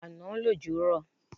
Àná lòjò rọ̀